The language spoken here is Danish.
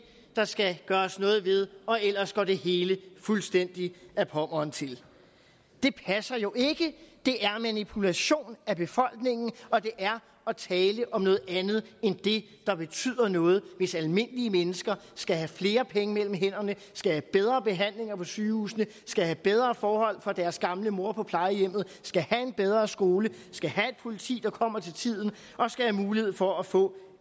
der skal gøres noget ved ellers går det hele fuldstændig ad pommern til det passer jo ikke det er manipulation af befolkningen og det er at tale om noget andet end det der betyder noget hvis almindelige mennesker skal have flere penge mellem hænderne skal have bedre behandlinger på sygehusene skal have bedre forhold for deres gamle mor på plejehjemmet skal have en bedre skole skal have et politi der kommer til tiden og skal have mulighed for at få